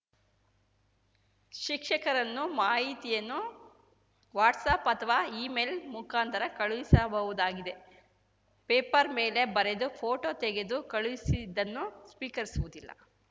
ಶಿಕ್ಷಕರನ್ನು ಮಾಹಿತಿಯನ್ನು ವಾಟ್ಸಪ್‌ ಅಥವಾ ಈಮೇಲ್‌ ಮುಖಾಂತರ ಕಳುಹಿಸಬಹುದಾಗಿದೆ ಪೇಪರ್‌ ಮೇಲೆ ಬರೆದು ಫೋಟೋ ತೆಗೆದು ಕಳುಹಿಸಿದ್ದನ್ನು ಸ್ವೀಕರಿಸುವುದಿಲ್ಲ